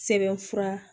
Sɛbɛnfura